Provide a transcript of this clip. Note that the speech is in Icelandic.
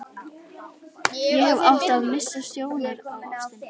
Ég hefði átt að missa sjónar á ástinni.